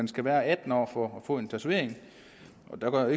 skal være atten år for at få en tatovering og der går jeg